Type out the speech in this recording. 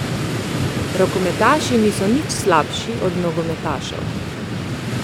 Rokometaši niso nič slabši od nogometašev.